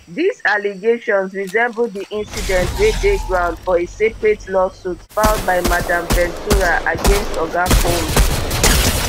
dis allegations resemble di incident wey dey ground for a separate lawsuit filed by madam ventura against oga combs